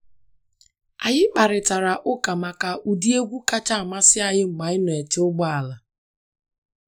Anyị kparịtara uka maka ụdị egwu kacha amasị anyị mgbe anyị nọ n’eche ụgbọala.